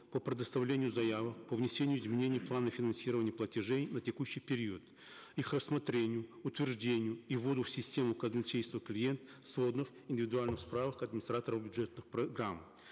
по предоставлению заявок по внесению изменений в планы финансирования платежей на текущий период их рассмотрению утверждению и вводу в систему казначейство клиент сводных индивидуальных справок администратору бюджетных программ